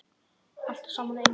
Allt saman á einum stað.